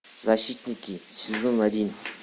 защитники сезон один